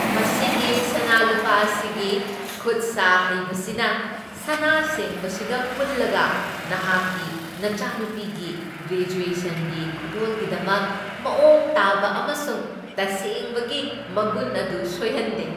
ꯃꯁꯤꯒꯤ ꯁꯅꯥ ꯂꯨꯄꯥ ꯑꯁꯤꯒꯤ ꯈꯨꯠ ꯁꯥ ꯍꯩꯕꯁꯤꯅ, ꯁꯅꯥ ꯁꯦꯡꯕꯁꯤꯒ ꯄꯨꯜꯂꯒ, ꯅꯍꯥꯛꯀꯤ ꯅꯆꯥꯅꯨꯄꯤꯒꯤ ꯒ꯭ꯔꯦꯖ꯭ꯋꯦꯁꯟꯒꯤ ꯈꯨꯗꯣꯜꯒꯤꯗꯃꯛ ꯃꯑꯣꯡ ꯇꯥꯕ ꯑꯃꯁꯨꯡ ꯇꯁꯦꯡꯕꯒꯤ ꯃꯒꯨꯟ ꯑꯗꯨ ꯁꯣꯏꯍꯟꯗꯦ꯫